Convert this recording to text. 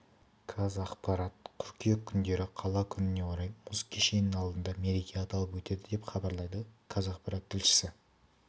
қазақпарат қыркүйек күндері қала күніне орай мұз кешенінің алдында мереке аталып өтеді деп хабарлайды қазақпарат тілшісі